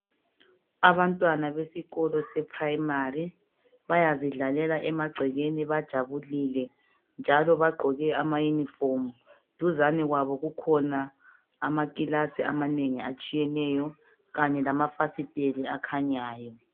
Abantwana besikolo seprimary bayazidlalela emagcekeni bajabulile njalo bagqoke amaunifomu, duzane kwabo kukhona amakilasi amanengi atshiyeneyo Kanye lamafasitele akhanyayo .